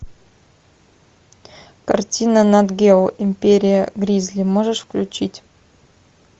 картина нат гео империя гризли можешь включить